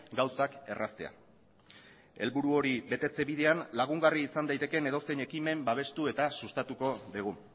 gauzak erraztea helburu hori betetze bidean lagungarri izan daitekeen edozein ekimen babestu eta sustatuko dugu